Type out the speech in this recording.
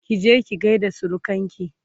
kije ki gaida surukanki!